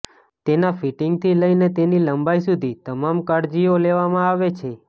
તેના ફિટીંગથી લઇને તેની લંબાઇ સુધી તમામ કાળજીઓ લેવામાં આવે છે